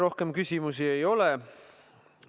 Rohkem küsimusi ei ole.